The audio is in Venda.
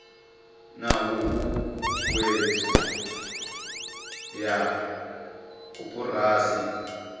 na huhuwedzo ya koporasi dza